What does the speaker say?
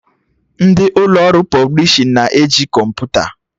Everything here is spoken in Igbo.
Ndị ụlọ ọrụ pọblishin na-eji kọmputa